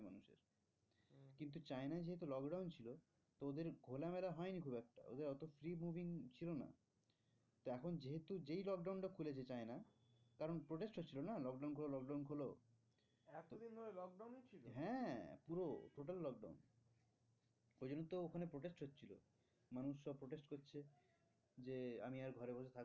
পুরো total lockdown ওই জন্য তো ওখানে Protect হচ্ছিলো। মানুষ সব Protected করছে যে আমি আর ঘরে বসে